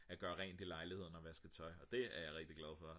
at gøre rent i lejligheden og vaske tøj og det er jeg rigtig glad for